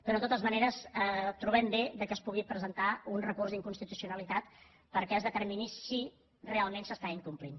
però de totes maneres trobem bé que es pugui presentar un recurs d’inconstitucionalitat perquè es determini si realment s’està incomplint